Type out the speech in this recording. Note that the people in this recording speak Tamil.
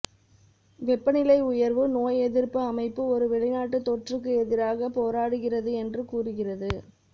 வெப்பநிலை உயர்வு நோயெதிர்ப்பு அமைப்பு ஒரு வெளிநாட்டு தொற்றுக்கு எதிராக போராடுகிறது என்று கூறுகிறது